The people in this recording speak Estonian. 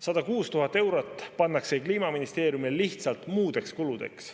106 000 eurot pannakse Kliimaministeeriumile lihtsalt muudeks kuludeks.